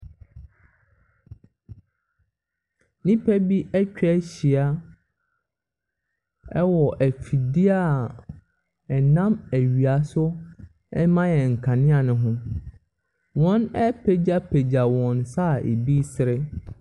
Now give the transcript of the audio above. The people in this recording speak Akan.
Nnipa bi atwa ahyia ɛwɔ afidie a ɛnam awia so ɛma yɛn nkanea no ho. Wɔn apagyapagya wɔn nsa a ɛbiisre.